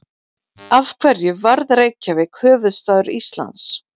Af hverju varð Reykjavík höfuðstaður Íslands?